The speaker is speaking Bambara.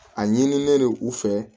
A ɲinilen u fɛ